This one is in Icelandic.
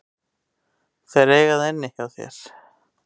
Þeir eiga það inni hjá þér.